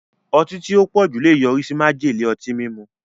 Ọtí tí ó pọ̀jù lè yọrí sí májèlé ọtí mímu.